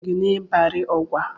Onye so gị n'Ibari Ọgwa?